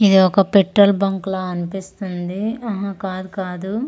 ఇది ఒక petrol bunk లా అనిపిస్తుంది ఆహా కాదు కాదు.